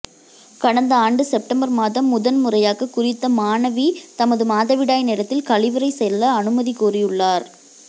கடந்த ஆண்டு செப்டம்பர் மாதம் முதன் முறையாக குறித்த மாணவி தமது மாதவிடாய் நேரத்தில் கழிவறை செல்ல அனுமதி கோரியுள்ளார்